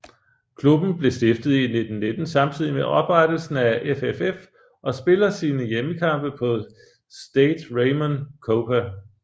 Klubben blev stiftet i 1919 samtidig med oprettelsen af FFF og spiller sine hjemmekampe på Stade Raymond Kopa